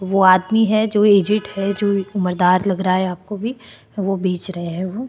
वो आदमी है जो एजेड है अ जो मर्दार लग रहा है आपको भी वो बेच रहे है वो।